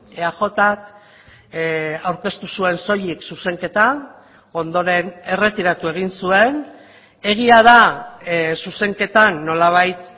eajk aurkeztu zuen soilik zuzenketa ondoren erretiratu egin zuen egia da zuzenketan nolabait